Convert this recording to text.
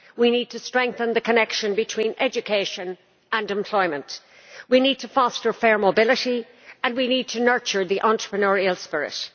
We need to strengthen the connection between education and employment. We need to foster fair mobility, and we need to nurture the entrepreneurial spirit.